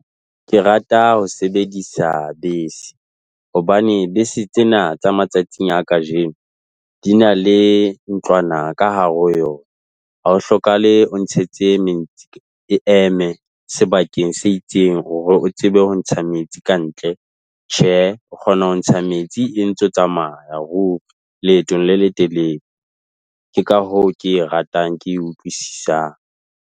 Ke rata ho sebedisa bese hobane bese tsena tsa matsatsing a kajeno di na le ntlwana ka hare ho yona. Ha ho hlokahale o ntshetse metsi e eme sebakeng se itseng hore o tsebe ho ntsha metsi kantle. Tjhe o kgona ho ntsha metsi e ntse tsamaya leetong le letelele. Ke ka hoo ke e ratang ke e utlwisisang.